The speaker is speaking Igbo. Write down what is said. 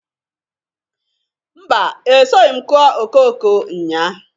Mba! Esoghi m kụọ okooko nnyaa.